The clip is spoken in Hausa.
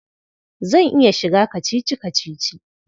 Zan iya shiga kacici-kacici.